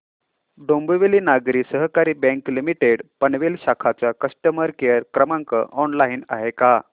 Dombivli Nagari Sahakari Bank Limited Panvel शाखा चा customer care क्रमांक ऑनलाइन आहे का